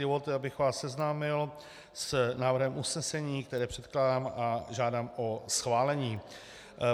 Dovolte, abych vás seznámil s návrhem usnesení, které předkládám a žádám o schválení.